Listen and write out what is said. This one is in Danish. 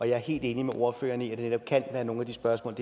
jeg er helt enig med ordføreren i at det netop kan være nogle af de spørgsmål